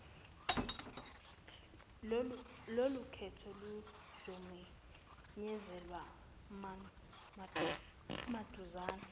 lolukhetho luzomenyezelwa maduzane